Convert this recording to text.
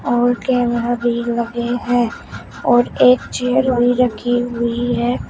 और कैमरा भी लगे हैं और एक चेयर भी रखी हुई है।